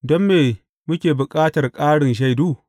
Don me muke bukatar ƙarin shaidu?